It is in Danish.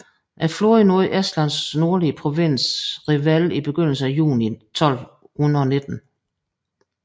Flåden nåede Estlands nordlige provins Revele i begyndelsen af juni 1219